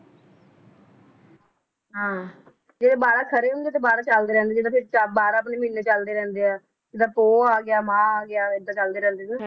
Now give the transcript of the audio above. ਹਾਂ ਜਿਹੜੇ ਬਾਰਾਂ ਖੜੇ ਹੁੰਦੇ ਤੇ ਬਾਰਾਂ ਚੱਲਦੇ ਰਹਿੰਦੇ ਬਾਰਾਂ ਆਪਣੇ ਮਹੀਨੇ ਚੱਲਦੇ ਰਹਿੰਦੇ ਆ, ਜਿੱਦਾਂ ਪੋਹ ਆ ਗਿਆ ਮਾਹ ਆ ਗਿਆ ਏਦਾਂ ਚੱਲਦੇ ਰਹਿੰਦੇ ਨੇ